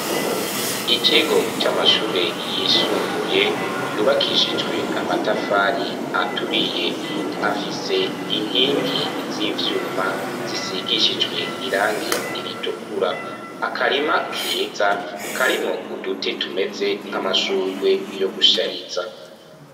Ikigo c'amashure yisumbuye yubakishijwe amatafari aturiye afise inkingi z'ivyuma zisigishijwe irangi iritukura. Akarima keza karimo uduti tumeze nk'amashurwe yo gushyariza.